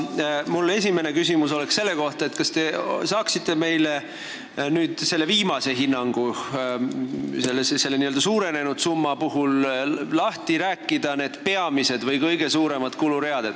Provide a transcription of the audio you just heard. Mu esimene küsimus on selle kohta, mis on selle n-ö suurenenud summa puhul peamised kuluread.